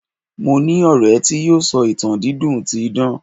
mo ni ọrẹ ti yíò sọ ìtàn dídùn ti idan